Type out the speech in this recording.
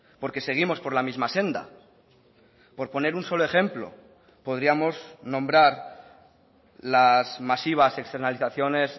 porque seguimos por la misma senda por poner un solo ejemplo podríamos nombrar las masivas externalizaciones